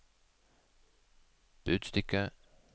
budstikke